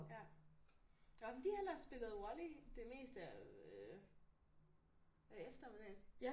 Ja nå men de har ellers spillet volley det meste af øh af eftermiddagen